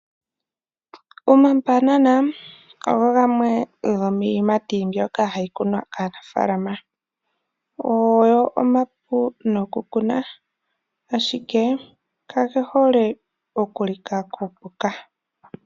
Omambanana ogo gamwe gomiiyimati mbyoka hayi kunwa kaanafaalama, ogo omapu nokukuna, ashike kage hole okulika kuupuka.